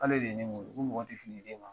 K'ale de ye ne wolo ko mɔgɔ ti fili i den ma.